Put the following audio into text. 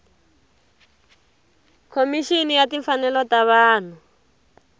khomixini ya timfanelo ta vanhu